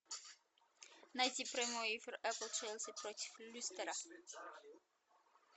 найти прямой эфир апл челси против лестера